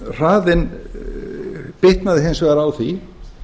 hraðinn bitnaði hins vegar á því